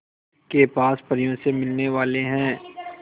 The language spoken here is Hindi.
के पास परियों से मिलने वाले हैं